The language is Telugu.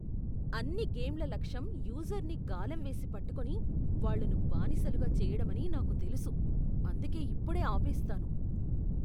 అన్ని గేమ్ల లక్ష్యం యూజర్ను గాలం వేసి పట్టుకొని, వాళ్ళను బానిసలుగా చెయ్యడమని నాకు తెలుసు, అందుకే ఇప్పుడే ఆపేస్తాను.